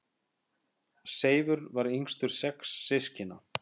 Seifur var yngstur sex systkina.